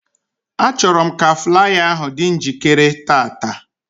Achọrọ m ka flaya ahụ dị njikere tata